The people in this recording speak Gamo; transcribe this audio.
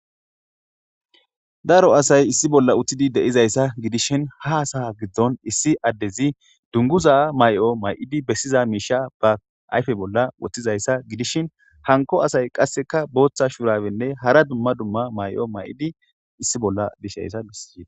daro asay issi bolla uttidi deizayssa gidishin ha asaha giddon issi addezi dunguza may7o may7idi bessiza miisha ba ayfe bolla woththizayssa gidishin hanko asay qasseka booththa shurawenne hara dumma dumma may7o may7idi issi bolla dishayssa bisiee